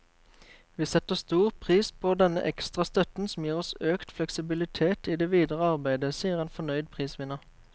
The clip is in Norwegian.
Vi setter stor pris på denne ekstra støtten, som gir oss økt fleksibilitet i det videre arbeidet, sier en fornøyd prisvinner.